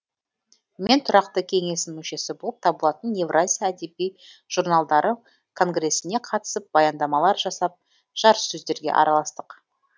мен тұрақты кеңесінің мүшесі болып табылатын евразия әдеби журналдары конгресіне қатысып баяндамалар жасап жарыссөздерге араластық